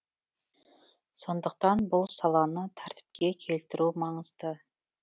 сондықтан бұл саланы тәртіпке келтіру маңызды